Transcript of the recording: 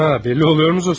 Hə, bəlli olurmu Zosimov?